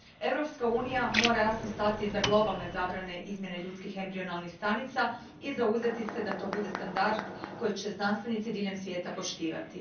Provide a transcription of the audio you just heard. Europska unija mora jasno stati iza globalne zabrane izmjene ljudskih embrionalnih stanica i zauzeti se da to bude standard koji će znanstvenici diljem svijeta poštovati.